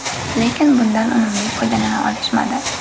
Lekin, bundan unumli foydalana olishmadi.